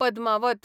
Padmaavat